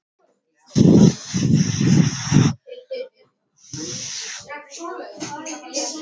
Henni fannst hún minna sig á bestu ár lífsins.